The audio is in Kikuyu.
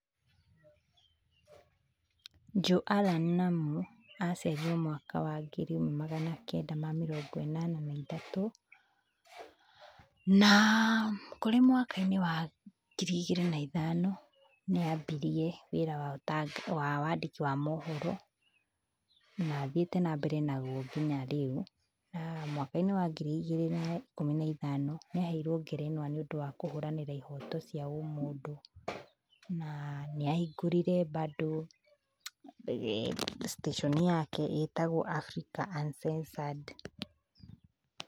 Joe Allan Namu aciarirwo mwaka wa ngiri ĩmwe magana kenda ma mĩrongo ĩnana na ithatũ, na kũrĩ mwaka-inĩ wa ngiri igĩrĩ na ithano nĩambirie wĩra wa wandĩki wa mohoro, na thiĩte mbere naguo nginya rĩu. Na mwaka-inĩ wa ngiri igĩrĩ na ikũmi na ithano nĩaheirwo ngerenwa nĩũndũ wa kũhũranĩra ihoto cia ũmũndũ, na nĩahingũrire bado station yake itagwo Africa Uncensored.